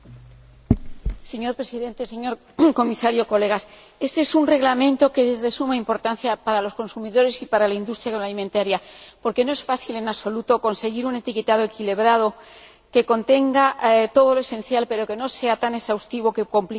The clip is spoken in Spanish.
Señor Presidente, señor Comisario, colegas, este Reglamento es de suma importancia para los consumidores y para la industria agroalimentaria, porque no es fácil en absoluto conseguir un etiquetado equilibrado, que contenga todo lo esencial pero no sea tan exhaustivo que complique la información.